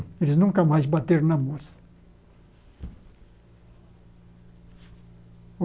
Eles nunca mais bateram na moça.